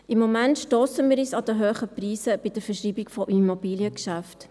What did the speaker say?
Im Moment stossen wir uns an den hohen Preisen bei der Verschreibung von Immobiliengeschäften.